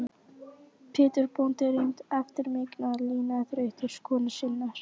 Pétur bóndi reyndi eftir megni að lina þrautir konu sinnar.